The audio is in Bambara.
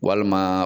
Walima